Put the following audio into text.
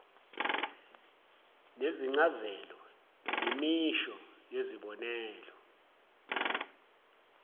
nezincazelo imisho yezibonelo